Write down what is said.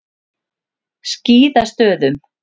Skíðastöðum